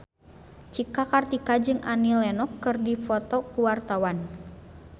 Cika Kartika jeung Annie Lenox keur dipoto ku wartawan